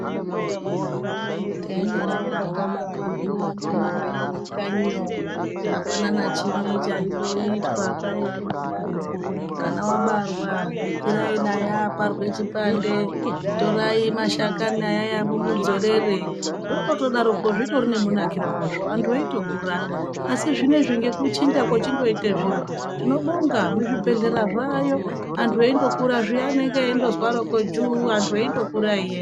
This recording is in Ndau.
Taindodarokwo tabarwa zviyaa ndiana Mai edu kanyi yo, apana nachimwe chaindoitwa. Kwaiya kundodaro kwo mwana wabarwa kwirai naye aparwe chipande. Torai mashakani ayaya mumudzorerere. Zvakangodaro kwo zvitori nemunakire wazvo, antu eitokura. Asi zvinezvi ngekuchinja kwachindoita zviro, tinobonga muzvibhedhlera zvaayo antu eindokura zviya anenge endozarokwo juu antu endokura eienda.